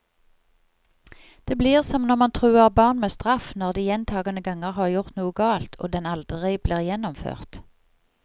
Det blir som når man truer barn med straff når de gjentagende ganger har gjort noe galt, og den aldri blir gjennomført.